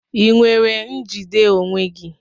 Ị nwere njide onwe gị?